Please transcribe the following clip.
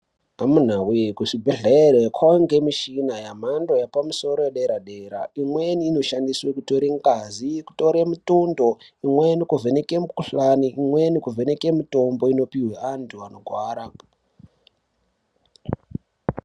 Amunawee kuzvibhedhlere, kwava ngemichina yamhando yapamusoro yedera-dera. Imweni inoshandiswe kutore ngazi, kutore mitundo, imweni kuvheneke mikuhlani, imweni kuvheneke mitombo inopihwe antu anogwara.